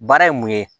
Baara ye mun ye